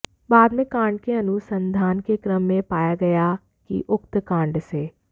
बाद में कांड के अनुसंधान के क्रम में यह पाया गया कि उक्त कांड से